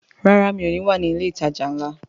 Rárá, mi ò ní wà ní ilé ìtajà ńlá